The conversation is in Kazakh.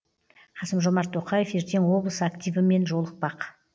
қасым жомарт тоқаев ертең облыс активімен жолықпақ